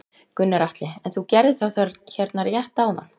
Gunnar Atli: En þú gerðir það hérna rétt áðan?